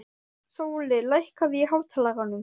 Sóli, lækkaðu í hátalaranum.